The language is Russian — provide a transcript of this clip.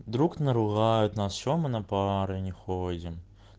друг наругают нас что мы на пары не ходим